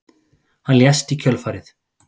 Hann lést í kjölfarið